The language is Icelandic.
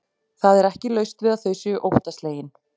Það er ekki laust við að þau séu óttaslegin.